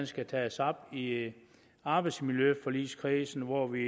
skal tages op i arbejdsmiljøforligskredsen hvor vi